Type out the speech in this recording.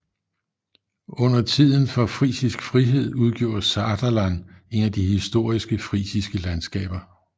Under tiden for Frisisk Frihed udgjorde Saterland et af de historiske frisiske landskaber